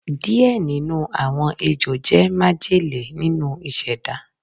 Diẹ ninu awọn Ejo jẹ majele ninu iseda